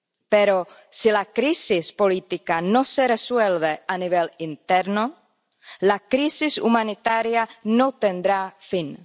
Pero si la crisis política no se resuelve a nivel interno, la crisis humanitaria no tendrá fin.